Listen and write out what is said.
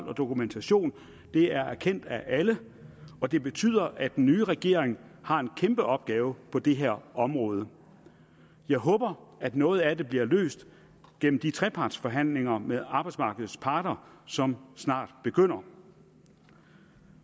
på dokumentation det erkender alle og det betyder at den nye regering har en kæmpe opgave på det her område jeg håber at noget af det bliver løst gennem de trepartsforhandlinger med arbejdsmarkedets parter som snart begynder